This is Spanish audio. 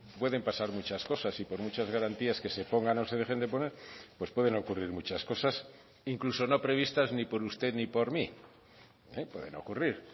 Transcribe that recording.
pueden pasar muchas cosas y por muchas garantías que se pongan o se dejen de poner pues pueden ocurrir muchas cosas incluso no previstas ni por usted ni por mí pueden ocurrir